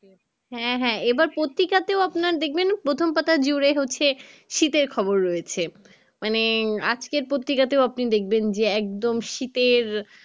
হ্যাঁ হ্যাঁ এবার পত্রিকাতেও আপনার দেখবেন প্রথম পাতায় জুড়ে হচ্ছে শীতের খবর রয়েছে মানে আজকের পত্রিকাতেও আপনি দেখবেন যে একদম শীতের